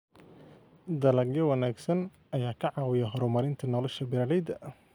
Dalagyo wanaagsan ayaa ka caawiya horumarinta nolosha beeralayda.